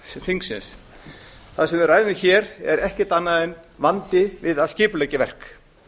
þingsins það sem við ræðum hér er ekkert annað en vandi við að skipuleggja verk